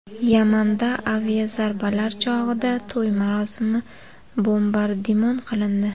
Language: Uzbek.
Yamanda aviazarbalar chog‘ida to‘y marosimi bombardimon qilindi.